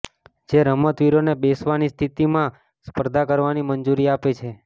જે રમતવીરોને બેસવાની સ્થિતિમાં સ્પર્ધા કરવાની મંજૂરી આપે છે